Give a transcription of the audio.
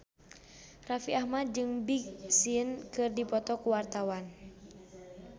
Raffi Ahmad jeung Big Sean keur dipoto ku wartawan